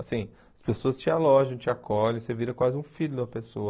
Assim, as pessoas te alojam, te acolhem, você vira quase um filho da pessoa.